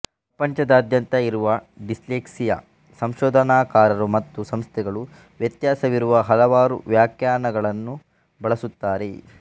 ಪ್ರಪಂಚದಾದ್ಯಂತ ಇರುವ ಡಿಸ್ಲೆಕ್ಸಿಯಾ ಸಂಶೋಧನಾಕಾರರು ಮತ್ತು ಸಂಸ್ಥೆಗಳು ವ್ಯತ್ಯಾಸವಿರುವ ಹಲವಾರು ವ್ಯಾಖ್ಯಾನಗಳನ್ನು ಬಳಸುತ್ತಾರೆ